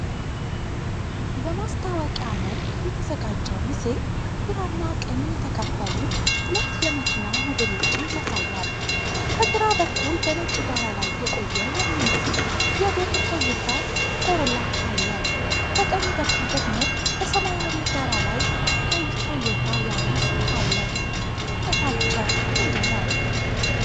በማስታወቂያ መልክ የተዘጋጀው ምስል ግራና ቀኝ የተከፈሉ ሁለት የመኪና ሞዴሎችን ያሳያል። በግራ በኩል በነጭ ዳራ ላይ የቆየ የሚመስል የብር ቶዮታ ኮሮላ አለ፤ በቀኝ በኩል ደግሞ በሰማያዊ ዳራ ላይ ቀይ ቶዮታ ያሪስ አለ፤ ልዩነታቸው ምንድን ነው?